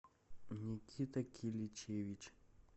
никита киличевич